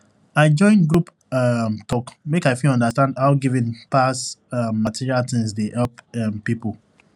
i join group um talk make i fit understand how giving pass um material things dey help um people